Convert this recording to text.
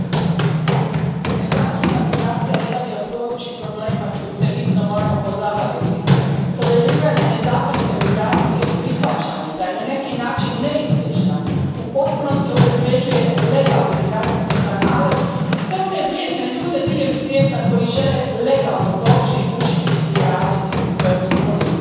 Gospodine predsjedniče, nezakonita migracija jedan je od gorućih problema s kojim se hitno moramo pozabaviti. Toleriranje nezakonite migracije i prihvaćanje da je na neki način neizbježna u potpunosti obezvrjeđuje legalne migracijske kanale i sve one vrijedne ljude diljem svijeta koji žele legalno doći, učiti ili raditi u Europskoj uniji.